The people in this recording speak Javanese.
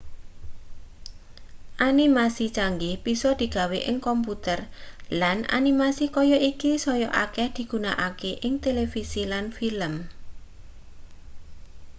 animasi canggih bisa digawe ing komputer lan animasi kaya iki saya akeh digunakake ing televisi lan film